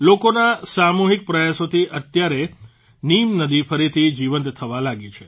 લોકોના સામૂહીક પ્રયાસોથી અત્યારે નીમ નદી ફરીથી જીવંત થવા લાગી છે